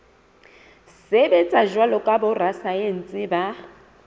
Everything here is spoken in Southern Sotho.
sebetsa jwalo ka borasaense ba